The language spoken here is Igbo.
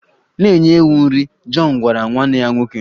Na-enye ewu nri! Jọn gwara nwanne ya nwoke.